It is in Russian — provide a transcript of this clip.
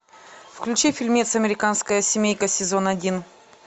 включи фильмец американская семейка сезон один